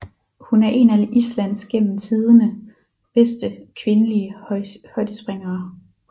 Hun er en af Islands gennem tidene bedste kvindlige højdespringere